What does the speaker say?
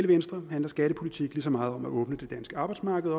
venstre handler skattepolitik lige så meget om at åbne det danske arbejdsmarked